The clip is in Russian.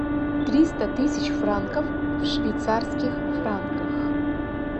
триста тысяч франков в швейцарских франках